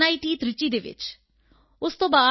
ਤ੍ਰਿਚੀ ਵਿੱਚ ਉਸ ਤੋਂ ਬਾਅਦ ਆਈ